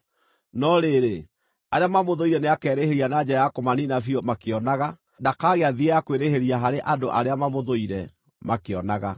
No rĩrĩ, arĩa mamũthũire nĩakerĩhĩria na njĩra ya kũmaniina biũ makĩonaga; ndakagĩa thieya kwĩrĩhĩria harĩ andũ arĩa mamũthũire, makĩonaga.